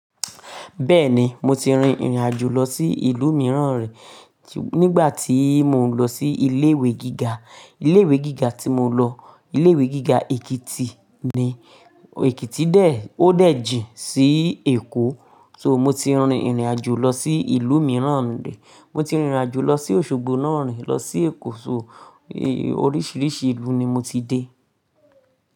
Bẹ́ẹ̀ni, mo ti rin ìrìn àjò lọ sí ìlú mìíràn rí. Nígbà tí mò ń lọ sí ilé ìwé gíga, ilé ìwé gíga tí mo lọ, ilé ìwé gíga Èkìtì ni. Èkìtì dé, ó dé gin sí Èkó. So mo ti rin ìrìn àjò lọ sí ìlú mìíràn rí. Mo ti rin ìrìn àjò lọ sí Òṣogbo náà rí, lọ sí Èkó. So oríṣiríṣi ìlú ni mo ti dé.